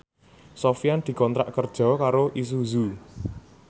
Sofyan dikontrak kerja karo Isuzu